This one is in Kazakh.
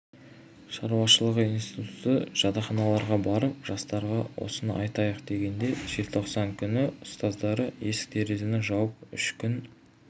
шаруашылығы институты жатақханаларға барып жастарға осыны айтайық дегенде желтоқсан күні ұстаздары есік-терезені жауып үш күн